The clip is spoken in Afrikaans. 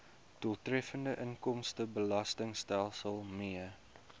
doeltreffende inkomstebelastingstelsel mee